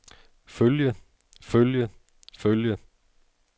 følge følge følge